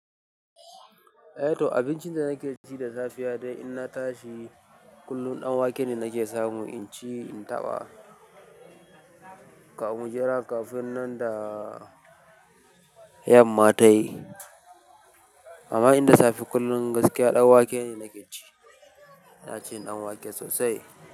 Eh to abincin da nake ci da safe ya dai in na tashi kullum ɗanwake ne nake samu in ci in taɓa, ka mu jira kafin nan da yamma tayi. Amma in da safe kullum gaskiya ɗanwake ne nake ci. Ina cin ɗanwake sosai.